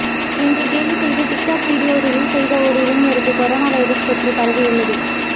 என்று கேலி செய்து டிக்டாக் வீடியோ ரிலீஸ் செய்த ஒரு இளைஞருக்கு கொரோனா வைரஸ் தொற்று பரவியுள்ளது